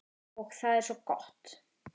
Og það er svo gott.